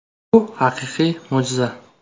“Bu haqiqiy mo‘jiza!